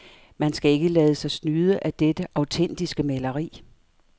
Man skal ikke lade sig snyde af dette autentiske maleri.